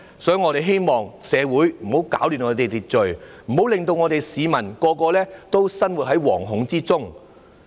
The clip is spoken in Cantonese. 所以，我們希望不要攪亂社會秩序，不要令市民人人生活在惶恐之中。